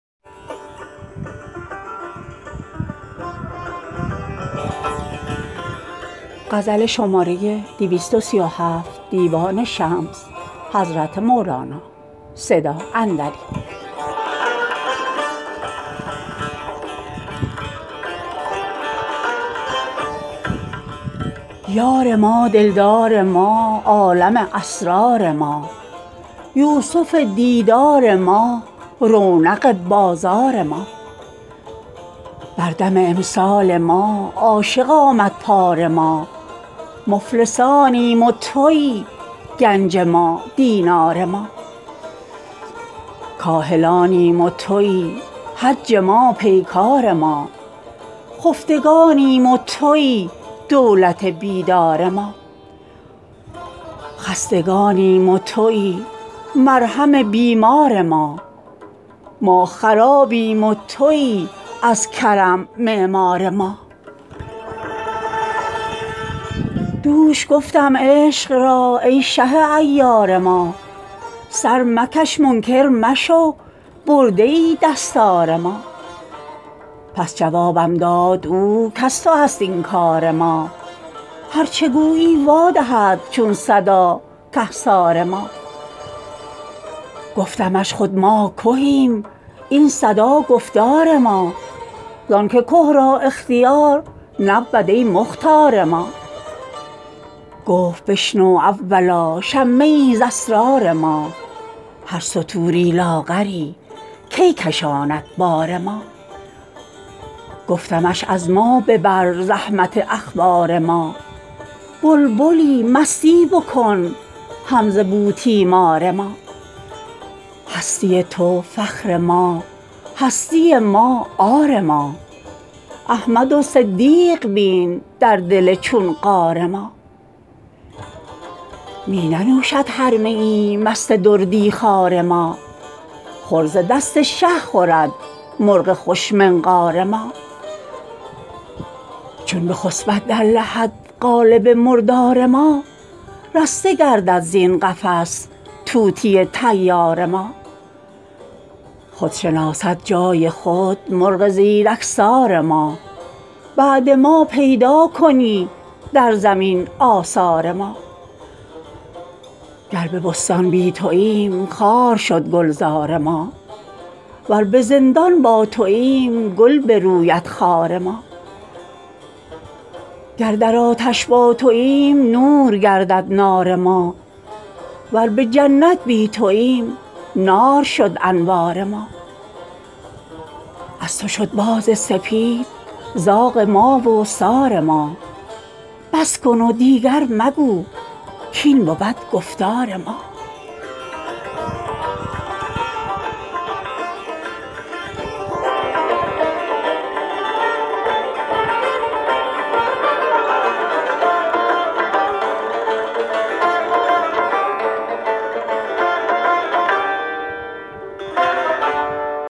یار ما دلدار ما عالم اسرار ما یوسف دیدار ما رونق بازار ما بر دم امسال ما عاشق آمد پار ما مفلسانیم و تویی گنج ما دینار ما کاهلانیم و تویی حج ما پیکار ما خفتگانیم و تویی دولت بیدار ما خستگانیم و تویی مرهم بیمار ما ما خرابیم و تویی از کرم معمار ما دوش گفتم عشق را ای شه عیار ما سر مکش منکر مشو برده ای دستار ما پس جوابم داد او کز تو است این کار ما هر چه گویی وادهد چون صدا کهسار ما گفتمش خود ما کهیم این صدا گفتار ما زانک که را اختیار نبود ای مختار ما گفت بشنو اولا شمه ای ز اسرار ما هر ستوری لاغری کی کشاند بار ما گفتمش از ما ببر, زحمت اخبار ما بلبلی مستی بکن هم ز بوتیمار ما هستی تو فخر ما هستی ما عار ما احمد و صدیق بین در دل چون غار ما می ننوشد هر میی مست دردی خوار ما خور ز دست شه خورد مرغ خوش منقار ما چون بخسپد در لحد قالب مردار ما رسته گردد زین قفس طوطی طیار ما خود شناسد جای خود مرغ زیرکسار ما بعد ما پیدا کنی در زمین آثار ما گر به بستان بی توییم خار شد گلزار ما ور به زندان با توییم گل بروید خار ما گر در آتش با توییم نور گردد نار ما ور به جنت بی توییم نار شد انوار ما از تو شد باز سپید زاغ ما و سار ما بس کن و دیگر مگو کاین بود گفتار ما